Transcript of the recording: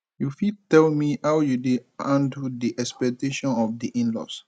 you fit tell me how you dey handle di expactations of di inlaws